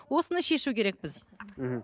осыны шешу керекпіз мхм